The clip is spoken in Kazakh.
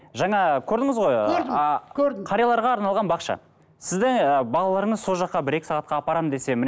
жаңа көрдіңіз ғой көрдім көрдім а қарияларға арналған бақша сізді балаларыңыз сол жаққа бір екі сағатқа апарамын десе міне